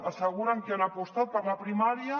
asseguren que han apostat per la primària